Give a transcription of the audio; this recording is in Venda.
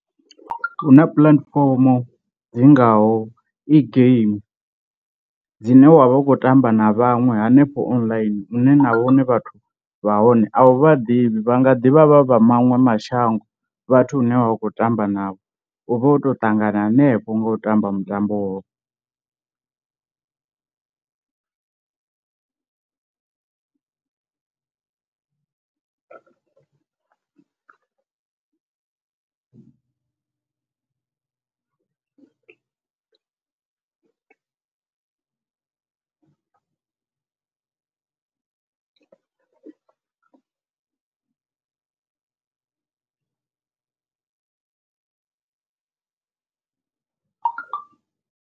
Huna puḽatifomo dzi ngaho E-game dzine wa vha hu khou tamba na vhanwe hanefho online, hune nahone vhathu vha hone a u vha ḓivhi vha nga ḓivha vha vha maṅwe mashango vhathu hune vha vha kho tamba navho, u vha wo tou ṱangana hanefho nga u tamba mutambo wowo.